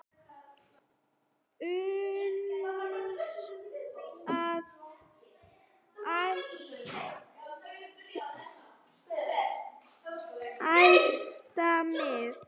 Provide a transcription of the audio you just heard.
uns að æðsta miði